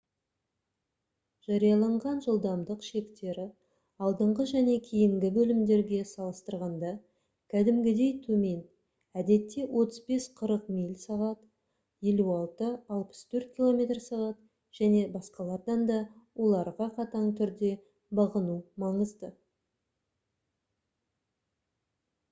жарияланған жылдамдық шектері алдыңғы және кейінгі бөлімдерге салыстырғанда кәдімгідей төмен - әдетте 35-40 миль / сағ 56-64 км / сағ - және басқалардан да оларға қатаң түрде бағыну маңызды